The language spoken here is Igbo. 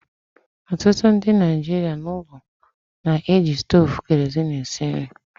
Ọtụtụ ndị Naijiria n'ụlọ na-eji stovu kerosene esi nri